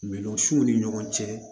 Min siw ni ɲɔgɔn cɛ